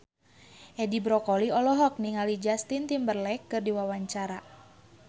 Edi Brokoli olohok ningali Justin Timberlake keur diwawancara